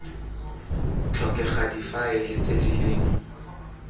tlhokega difaele tse di leng